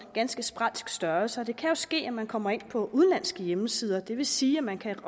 ganske sprælsk størrelse og det kan ske at man kommer ind på udenlandske hjemmesider og det vil sige at man kan